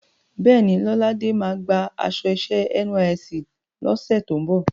Bẹ́ẹ̀ni, Lọ́ládé máa gba aṣọ iṣẹ́ NYSC lọ́sẹ̀ tó ń bọ̀.